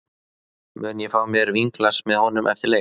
Mun ég fá mér vínglas með honum eftir leik?